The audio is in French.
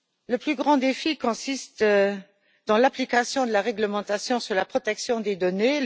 Le plus grand défi consiste en l'application de la réglementation sur la protection des données.